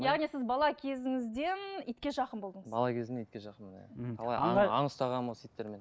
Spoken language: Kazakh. яғни сіз бала кезіңізден итке жақын болдыңыз бала кезімнен итке жақынмын иә мхм аң ұстағанмын осы иттермен